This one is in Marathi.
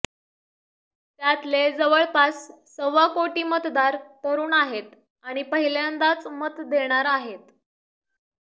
त्यातले जवळपास सव्वा कोटी मतदार तरुण आहेत आणि पहिल्यांदाच मत देणार आहेत